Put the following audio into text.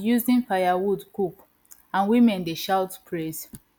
using firewood cook and women dey shout praise